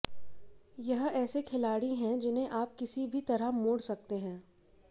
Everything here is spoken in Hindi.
यह ऐसे खिलाड़ी हैं जिन्हें आप किसी भी तरह मोड़ सकते हैं